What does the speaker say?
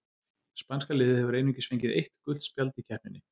Spænska liðið hefur einungis fengið eitt gult spjald í keppninni.